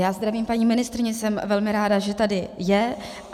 Já zdravím paní ministryni, jsem velmi ráda, že tady je.